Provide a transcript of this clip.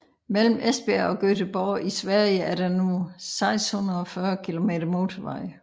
Mellem Esbjerg og Göteborg i Sverige er der nu 640 km motorvej